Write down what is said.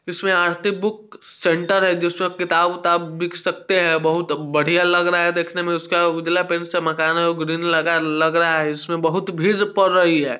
इसमें Aarti book centre है जिसमे किताब विताब बिक सकते हैं| बोहोत बढ़िया लग रहा हैं देखने मैं | उसजला पेंट से दुकान है गुदीन लगयेला लग रहा हैं। इसमें बोहोत भीड़ पद रही हैं।